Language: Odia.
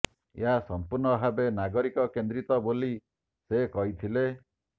ଏହା ସଂପୂର୍ଣ୍ଣ ଭାବେ ନାଗରିକ କେନ୍ଦ୍ରିତ ବୋଲି ସେ କହିଥିଲେ